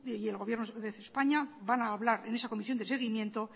y el gobierno de españa van hablar en esa comisión de seguimiento